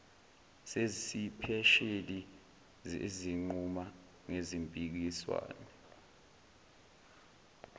zesipesheli ezinquma ngezimpikiswano